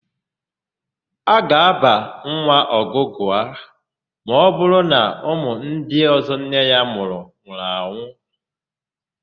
A ga-ábà nwa Ọgụgụa ma ọbụrụ na ụmụ ndị ọ̀zọ́ nne ya mụrụ nwụrụ anwụ.